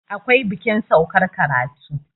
akwai bikin saukar karatu